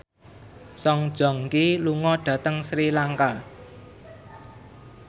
Song Joong Ki lunga dhateng Sri Lanka